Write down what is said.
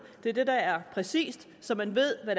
det er det der er præcist så man ved hvad